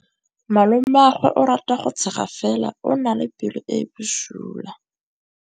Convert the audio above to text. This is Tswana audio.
Malomagwe o rata go tshega fela o na le pelo e e bosula.